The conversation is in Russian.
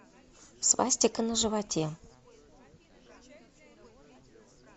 свастика на животе